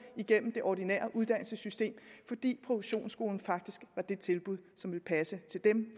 igennem det ordinære uddannelsessystem fordi produktionsskolen faktisk var det tilbud som ville passe til dem